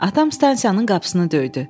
Atam stansiyanın qapısını döydü.